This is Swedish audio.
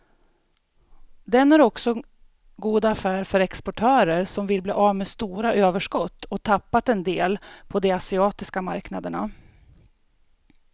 Den är också god affär för exportörer som vill bli av med stora överskott och tappat en del på de asiatiska marknaderna.